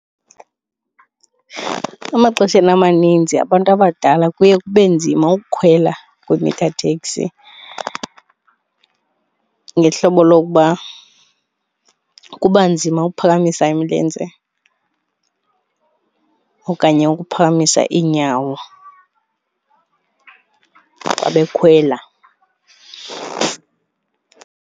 Emaxesheni amaninzi abantu abadala kuye kube nzima ukukhwela kwi-meter taxi ngohlobo lokuba kuba nzima ukuphakamisa imilenze okanye ukuphakamisa iinyawo xa bekhwela.